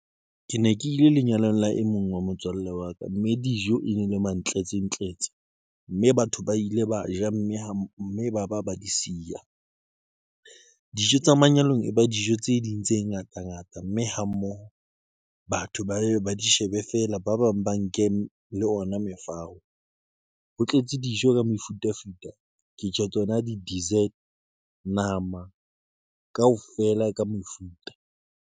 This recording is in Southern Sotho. Ke ne ke ile lenyalong la e mong wa motswalle wa ka mme dijo e ne le mantletsetletse mme batho ba ile ba ja mme ha mme ba ba ba di siya. Dijo tsa manyalong, e ba dijo tse ding tse ngata ngata, mme ha mmoho batho ba ye ba di shebe feela. Ba bang ba nke le ona mefao. Ho tletse dijo ka mefutafuta ke tjho tsona di dessert, nama kaofela e ka mefuta.